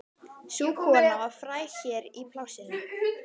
Sú kona var fræg hér í plássinu.